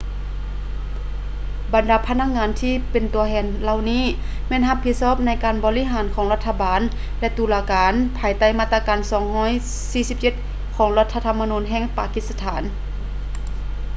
ບັນດາພະນັກງານທີ່ເປັນຕົວແທນເຫຼົ່ານີ້ ແມ່ນຮັບຜິດຊອບໃນການໃຫ້ບໍລິການຂອງ ລັດຖະບານ ແລະ ຕຸລາການ ພາຍໃຕ້ມາດຕາ 247 ຂອງລັດຖະທຳມະນູນແຫ່ງປາກິດສະຖານ